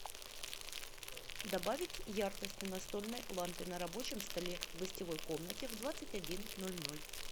добавить яркость на настольной лампе на рабочем столе в гостевой комнате в двадцать один ноль ноль